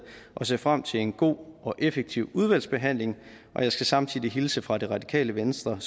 og ser frem til en god og effektiv udvalgsbehandling jeg skal samtidig hilse fra det radikale venstre